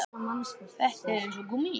Þetta er eins og gúmmí